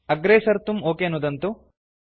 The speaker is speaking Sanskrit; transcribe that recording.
अग्रे सर्तुं ओक नुदन्तु